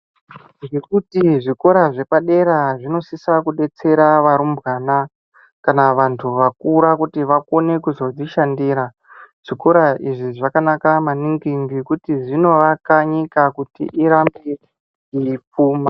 Ngekuti zvikora zvepadera zvinosisa kudetsera varumbwana, kana vantu vakura kuti vakone kudzishandira. Zvikora izvi zvakanaka maningi ngekuti zvinovaka nyika kuti irambe yeipfuma.